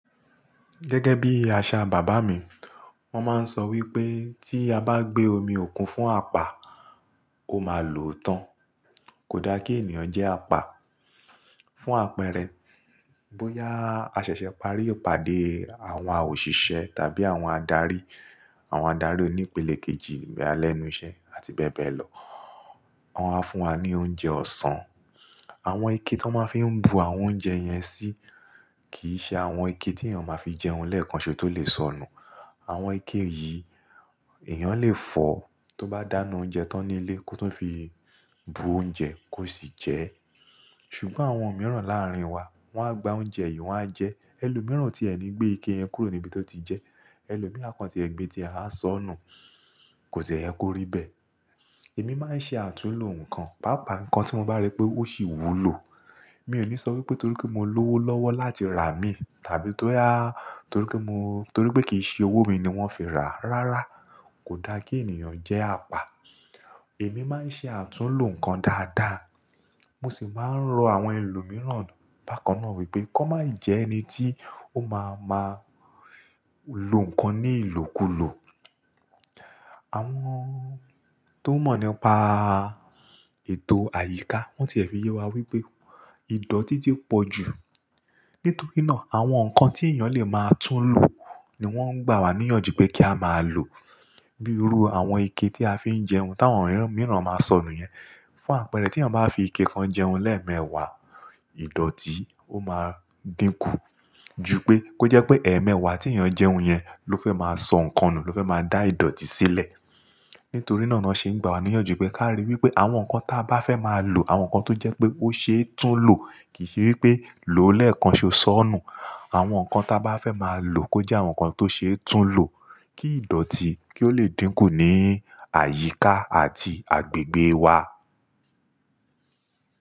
Gẹ́gẹ́ bí àṣà bàbá mi, wọ́n máa ń sọ wípé tí a bá gbé omi òkun fún apá, ó máa lòó tán. Kò da kí ènìyàn jẹ́ apá. Fún àpẹẹrẹ, bóyá a ṣẹ̀ṣẹ̀ parí ipàdé àwa òṣìṣẹ́ tàbí àwọn adarí, àwọn adari onípele kejì boya lẹ́nu iṣẹ́ àti bẹ́ẹ̀ bẹ́ẹ̀ lọ. Wọn wá fún wa ní oúnjẹ ọ̀sán. Àwọn ike tó máa ń fi bu àwọn oúnjẹ yẹn sí, kì í ṣe àwọn ike tí èèyàn máa fi jẹun lẹ́ẹ̀kan ṣo tó lè sọnù. Àwọn ike yìí, èèyàn lè foo tó bá dáná oúnjẹ tán nílé kó tu fi bu oúnjẹ kó sì jẹ ẹ́. Ṣùgbọ́n àwọn mìíràn láàrín wa, wọ́n á gba oúnjẹ yìí wọ́n á jẹ ẹ́. Ẹ̀lọ̀ mìíràn tí ẹ̀ ni gbé ike yẹn kúrò níbi tó ti jẹ ẹ́. Ẹ̀ẹ̀lọ̀ mìíràn a kan tie gbé tí e á sọnù, kò de yè ko ri bee. Èmi máa ń ṣe àtúnlo nǹkan, pàápàá nǹkan tí mo bá rí pé ó sì wúlò. Mi ò ní sọ wípé torí pé mo lówó lọ́wọ́ láti rà á mí, tàbí torí pé kì í ṣe owó mi ni wọ́n fi rà á. Rárá, kò da kí ènìyàn jẹ́ apá. Èmi máa ń ṣe àtúnlo nǹkan dáadáa. Mo sì máa ń rọ àwọn ẹlòmíràn bákan náà wípé kó má jẹ ẹni tí ó máa lo nǹkan ní ìlòkulò. Àwọn tó mọ̀ nípa ètò àyíká wọ́n ti e fi yẹ́ wa wípé ìdọ̀tí ti pọ̀ jù. Nítorí náà, àwọn nǹkan tí èèyàn lè máa túnlo ni wọ́n ń gbà wá níyànjú pé kí a máa lò. Bírú àwọn ike tí a fi ń jẹun táwọn mìíràn máa ń sọnù yẹn. Fún àpẹẹrẹ, tí èèyàn bá fi ike kan jẹun lẹ́ẹ̀mẹ́wàá, ìdọ̀tí ó máa dínkù. Jú pé, kó jẹ́ pé ẹ̀ẹ̀mẹ́wàá tí èèyàn jẹun yẹn ló fẹ́ máa sọ nǹkan nù, ló fẹ́ máa dá ìdọ̀tí sílẹ̀. Nítorí náà ni wọ́n ṣe ń gbà wá níyànjú, pé ká ríi wípé àwọn nǹkan tí a bá fẹ́ máa lò, àwọn nǹkan tó jẹ́ pé ó ṣe é túnlo, kì í ṣe wípé lò ó lẹ́ẹ̀kan ko ó sọnù. Àwọn nǹkan tí a bá fẹ́ máa lò, kó jẹ́ àwọn nǹkan tó ṣe é túnlo, kí ìdọ̀tí kí ó lè dínkù ní àyíká àti agbègbè wa.